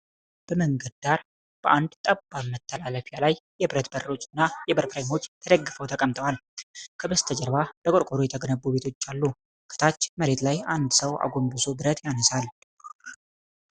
በመንገድ ዳር በአንድ ጠባብ መተላለፊያ ላይ የብረት በሮች እና የበር ፍሬሞች ተደግፈው ተቀምጠዋል። ከበስተጀርባ በቆርቆሮ የተገነቡ ቤቶች አሉ። ከታች መሬት ላይ አንድ ሰው አጎንብሶ ብረት ያነሳል።